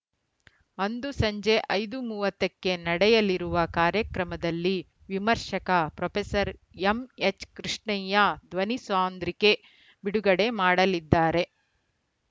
ಅಂದು ಸಂಜೆ ಐದು ಮೂವತ್ತು ಕ್ಕೆ ನಡೆಯಲಿರುವ ಕಾರ್ಯಕ್ರಮದಲ್ಲಿ ವಿಮರ್ಶಕ ಪ್ರೊಫೆಸರ್ ಎಂಎಚ್‌ಕೃಷ್ಣಯ್ಯ ಧ್ವನಿ ಸಾಂದ್ರಿಕೆ ಬಿಡುಗಡೆ ಮಾಡಲಿದ್ದಾರೆ